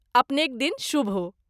अपनेक दिन शुभ हो।